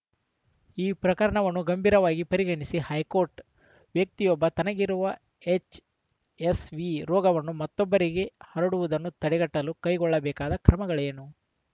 ಈ ಪ್ರಕರಣವನ್ನು ಗಂಭೀರವಾಗಿ ಪರಿಗಣಿಸಿದ ಹೈಕೋರ್ಟ್‌ ವ್ಯಕ್ತಿಯೊಬ್ಬ ತನಗಿರುವ ಎಚ್‌ಎಸ್‌ವಿ ರೋಗವನ್ನು ಮತ್ತೊಬ್ಬರಿಗೆ ಹರಡುವುದನ್ನು ತಡೆಗಟ್ಟಲು ಕೈಗೊಳ್ಳಬೇಕಾದ ಕ್ರಮಗಳೇನು